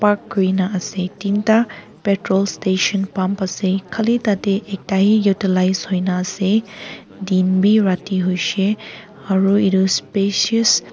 park korina ase tinta patrol station pump ase khali tate ekta he utilize hoi kina ase din bhi rati hoise aru etu specious --